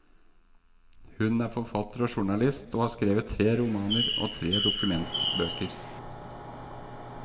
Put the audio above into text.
Hun er forfatter og journalist, og har skrevet tre romaner og tre dokumentarbøker.